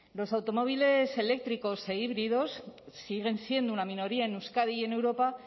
los automóviles eléctricos e híbridos siguen siendo una minoría en euskadi y en europa